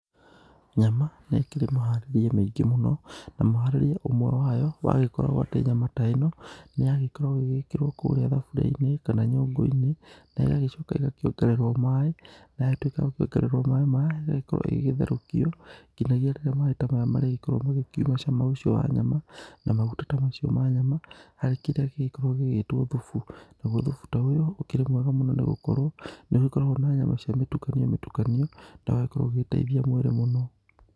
Nyama nĩ ĩkĩrĩ mũharĩrie mĩingĩ mũno, na mũharĩrie ũmwe wayo wagĩkorwo atĩ nyama ta ĩno, nĩ yagĩkorwo ĩgĩgĩkĩrwo kũrĩa thaburi-inĩ kana nyũngũ-inĩ na ĩgagĩcoka ĩgakĩongererwo maĩ, na yatuĩka ya gĩkĩongererwo maĩ maya, ĩgagĩkorwo ĩgĩgĩtherũkio nginyagia rĩrĩa maĩ ta maya marĩgĩkorwo magĩkiuma cama ũcio wa nyama, na maguta ta macio ma nyama harĩ kĩrĩa gĩgĩkoragwo gĩgĩtwo thubu, naguo thubu ta ũyũ ũkĩrĩ mwega mũno nĩ gũkorwo, nĩ ũgĩkoragwo na nyama cia mĩtukanio mĩtukanio, na ũgagĩkorwo ũgĩteithia mwĩrĩ mũno.